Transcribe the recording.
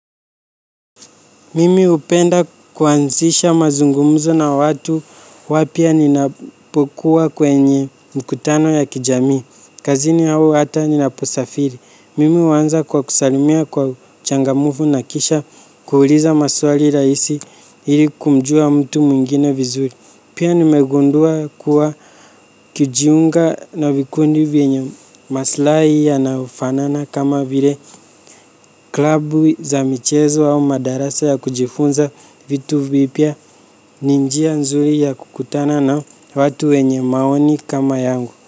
Mimi hupenda kuanzisha mazungumzo na watu wapya ninapokuwa kwenye mikutano ya kijamii. Kazini au hata ninaposafiri. Mimi huwanza kwa kusalimia kwa uchangamufu na kisha kuuuliza maswali raisi ili kumjua mtu mwingine vizuri. Pia nimegundua kuwa ukijiunga na vikundi vyenye maslai yanayofanana kama vile klabu za michezo au madarasa ya kujifunza vitu vipya ni njia nzuri ya kukutana na watu wenye maoni kama yangu.